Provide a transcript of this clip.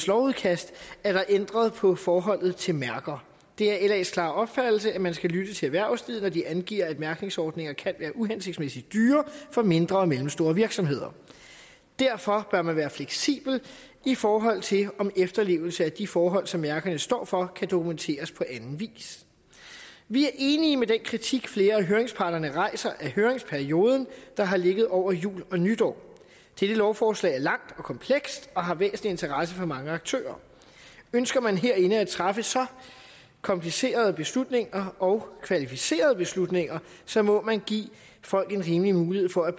lovudkast er der ændret på forholdet til mærker det er las klare opfattelse at man skal lytte til erhvervslivet når de angiver at mærkningsordninger kan være uhensigtsmæssigt dyre for mindre og mellemstore virksomheder derfor bør man være fleksibel i forhold til om efterlevelse af de forhold som mærkerne står for kan dokumenteres på anden vis vi er enige i den kritik som flere af høringsparterne rejser af høringsperioden der har ligget over jul og nytår dette lovforslag er langt og komplekst og har væsentlig interesse for mange aktører ønsker man herinde at træffe så komplicerede beslutninger og kvalificerede beslutninger så må man give folk en rimelig mulighed for at